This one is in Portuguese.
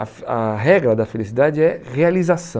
A a regra da felicidade é realização.